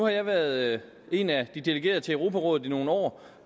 jeg været en af de delegerede til europarådet i nogle år